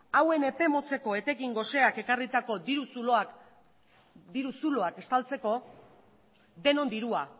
hauen epe motzeko etekin goseak ekarritako diru zuloak estaltzeko denon dirua